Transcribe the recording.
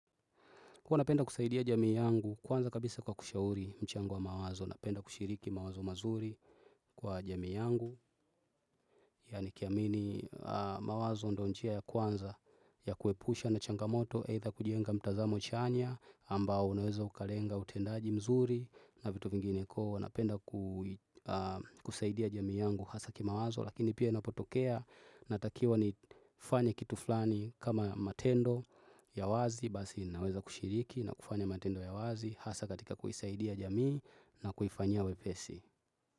Huwa napenda kusaidia jamii yangu kwanza kabisa kwa kushauri mchango wa mawazo, napenda kushiriki mawazo mazuri kwa jamii yangu, ya nikiamini mawazo ndio njia ya kwanza ya kuepusha na changamoto, either kujenga mtazamo chanya ambao unaweza ukalenga utendaji mzuri na vitu vingine koo. Kwa napenda kusaidia jamii yangu hasa kimawazo, lakini pia ninapotokea natakiwa nifanye kitu flani kama matendo ya wazi, basi naweza kushiriki na kufanya matendo ya wazi hasa katika kuisaidia jamii na kuhifanyia wepesi.